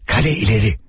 Qalə ileri.